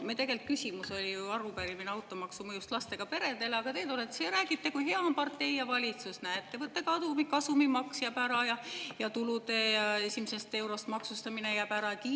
Arupärimine oli ju automaksu mõjust lastega peredele, aga teie tulete ja räägite, kui hea on partei ja valitsus: "Näe, ettevõtte kasumimaks jääb ära ja tulude esimesest eurost maksustamine jääb ära!